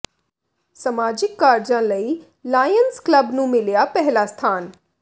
ਸਮਾਜਿਕ ਕਾਰਜਾਂ ਲਈ ਲਾਇਨਜ਼ ਕਲੱਬ ਨੂੰ ਮਿਲਿਆ ਪਹਿਲਾ ਸਥਾਨ